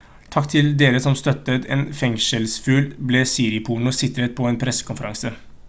«takk til dere som støttet en fengselsfugl» ble siriporno sitert på en pressekonferanse